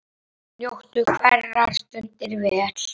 Njóttu hverrar stundar vel.